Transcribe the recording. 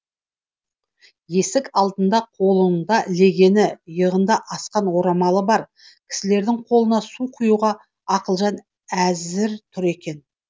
есік алдында қолыңда легені иығына асқан орамалы бар кісілердің қолына су құюға ақылжан әзір тұр екен